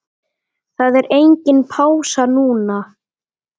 Það er engin pása núna.